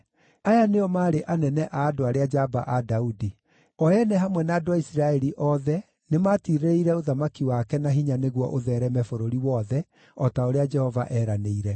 Aya nĩo maarĩ anene a andũ arĩa njamba a Daudi, o ene hamwe na andũ a Isiraeli othe, nĩmatirĩrĩire ũthamaki wake na hinya nĩguo ũtheereme bũrũri wothe, o ta ũrĩa Jehova eeranĩire.